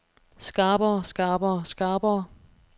skarpere skarpere skarpere